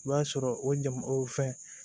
I b'a sɔrɔ o jama o fɛn